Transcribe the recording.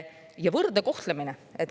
Ja võrdne kohtlemine.